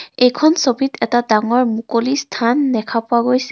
এইখন ছবিত এটা ডাঙৰ মুকলি স্থান দেখা পোৱা গৈছে.